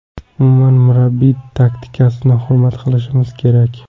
Umuman murabbiy taktikasini hurmat qilishimiz kerak.